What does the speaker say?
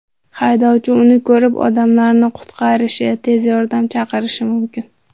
Haydovchi uni ko‘rib, odamlarni qutqarishi, tez yordam chaqirishi mumkin.